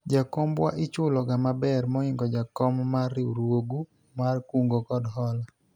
jakombwa ichulo ga maber moingo jakom mar riwruogu mar kungo kod hola